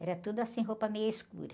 Era tudo assim, roupa meio escura.